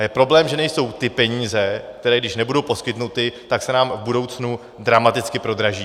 A je problém, že nejsou ty peníze, které když nebudou poskytnuty, tak se nám v budoucnu dramaticky prodraží.